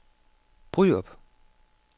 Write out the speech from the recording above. Bryrup